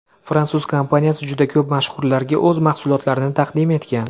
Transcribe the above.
Fransuz kompaniyasi juda ko‘p mashhurlarga o‘z mahsulotlarini taqdim etgan.